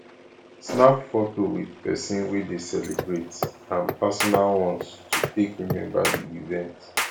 snap photo with persin wey de celebrate and personal ones to take remember di event